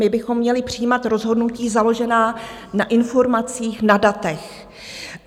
My bychom měli přijímat rozhodnutí založená na informacích, na datech.